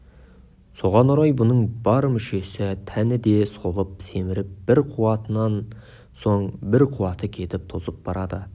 соған орай бұның бар мүшесі тәні де солып семіп бір қуатынан соң бір қуаты кетіп тозып барады